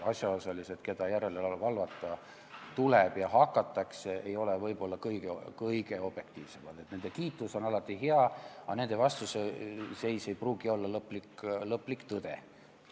Asjaosalised, kelle järele valvata tuleb ja kelle järele hakatakse valvama, ei ole võib-olla kõige objektiivsemad, nende kiitus on alati hea, aga nende vastuseis ei pruugi olla lõplik tõde.